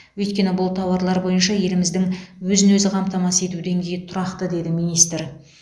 өйткені бұл тауарлар бойынша еліміздің өзін өзі қамтамасыз ету деңгейі тұрақты деді министр